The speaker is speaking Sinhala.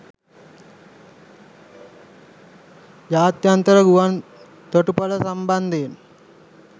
ජාත්‍යන්තර ගුවන් තොටු‍පොළ සම්බන්ධයෙන්